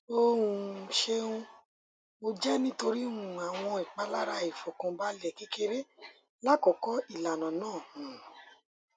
o um ṣeun o jẹ nitori um awọn ipalara aifọkanbalẹ kekere lakoko ilana naa um